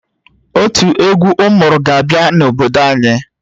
Otu egwu ụmụrụ ga-abịa n'obodo anyị